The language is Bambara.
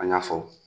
An y'a fɔ